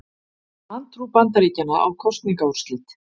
Vantrú Bandaríkjanna á kosningaúrslit